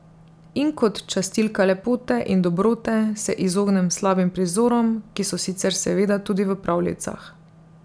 In kot častilka lepote in dobrote se izognem slabim prizorom, ki so sicer seveda tudi v pravljicah.